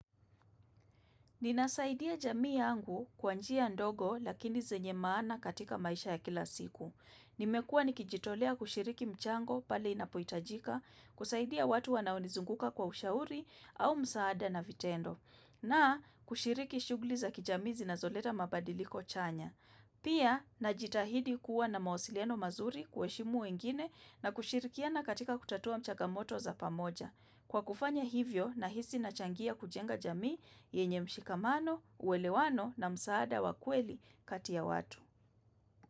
Ninasaidia jamii yangu kwa njia ndogo lakini zenye maana katika maisha ya kila siku. Nimekuwa nikijitolea kushiriki mchango pale inapohitajika, kusaidia watu wanaonizunguka kwa ushauri au msaada na vitendo, na kushiriki shughuli za kijamii zinazoleta mabadiliko chanya. Pia, najitahidi kuwa na mawasiliano mazuri kuheshimu wengine na kushirikiana katika kutatua mchagamoto za pamoja. Kwa kufanya hivyo nahisi nachangia kujenga jamii yenye mshikamano, uwelewano na msaada wa kweli kati ya watu.